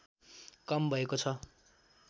कम भएको छ